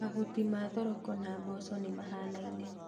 Mahuti ma thoroko na mboco nĩ mahanaine